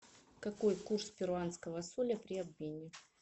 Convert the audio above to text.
какой курс перуанского соля при обмене